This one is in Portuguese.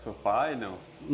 Seu pai? Não?